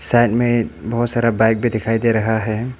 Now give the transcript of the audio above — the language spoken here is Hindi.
साइड में एक बहुत सारा बाइक भी दिखाई दे रहा है।